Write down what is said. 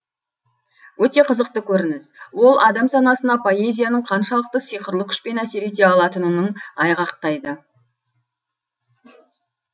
өте қызықты көрініс ол адам санасына поэзияның қаншалықты сиқырлы күшпен әсер ете алатының айғақтайды